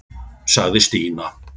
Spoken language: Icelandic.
sagði Stína.